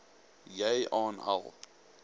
jy aan al